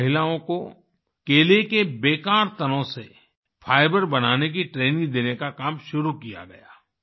वहाँ महिलाओं को केले के बेकार तनों से फाइबर बनाने की ट्रेनिंग देने का काम शुरू किया गया